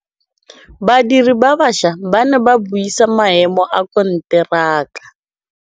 Badiri ba baša ba ne ba buisa maêmô a konteraka.